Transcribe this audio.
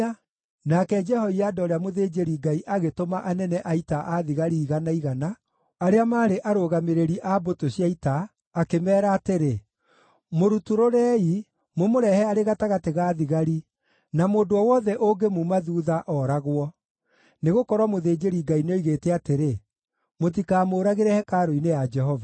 Nake Jehoiada ũrĩa mũthĩnjĩri-Ngai agĩtũma anene a ita a thigari igana igana, arĩa maarĩ arũgamĩrĩri a mbũtũ cia ita, akĩmeera atĩrĩ, “Mũrutũrũrei, mũmũrehe arĩ gatagatĩ ga thigari, na mũndũ o wothe ũngĩmuuma thuutha, oragwo.” Nĩgũkorwo mũthĩnjĩri-Ngai nĩoigĩte atĩrĩ, “Mũtikamũũragĩre hekarũ-inĩ ya Jehova.”